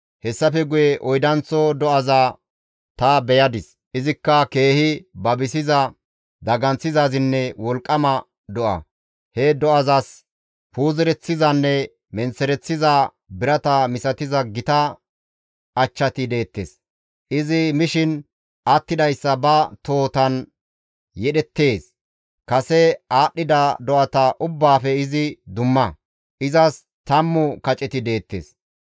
«Hessafe guye oydanththo do7aza ta beyadis; izikka keehi babisiza, daganththizaazinne wolqqama do7a; he do7azas puuzereththizanne menththereththiza birata misatiza gita achchati deettes. Izi mishin attidayssa ba tohotan yedhdheettes; kase aadhdhida do7ata ubbaafe izi dumma; izas tammu kaceti deettes.